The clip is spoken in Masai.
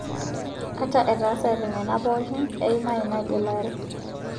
Ata etaasate nena pookin, eima ina gelare